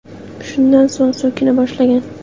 Shundan so‘ng so‘kina boshlagan.